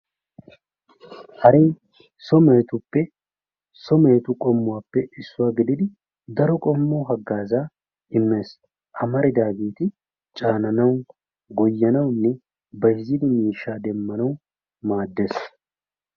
haree so mehetuppe so mehetu qommuwappe issuwa gididi daro qommo hagaaza immes, amaridaageeti caananawu , goyanawunne bayzzidi miishshaa demmanawu maadees.